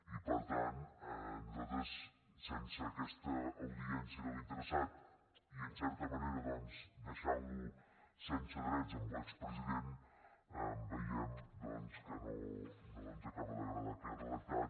i per tant nosaltres sense aquesta audiència de l’interessat i en certa manera doncs deixant lo sense drets l’expresident veiem que no ens acaba d’agradar aquest redactat